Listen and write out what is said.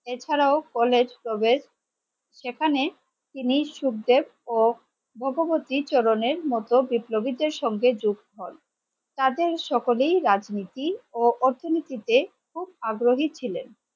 এছাড়াও college college প্রবেশ সেখানেই তিনি সুখ দেব ও ভগবতী চরণের মতো বিপ্লবীদের সাথে যুক্ত হন তাদের সকলেই রাজনীতি ও অর্থনীতিতে খুব আগ্রহী ছিলেন